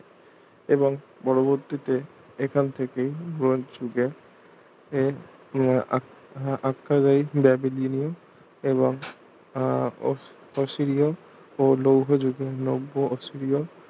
এবং পরবর্তীতে এখান থেকেই ব্রোঞ্জ যুগে এর উম ~ আখ্যা দেয় ব্যাবিলিয়ন এবং আহ ফসিরিয় ও লৌহ যুগে নব্য অসিরিয়